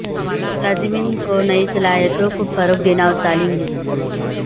ملازمین کو نئی صلاحیتوں کو فروغ دینا اور تعلیم دینا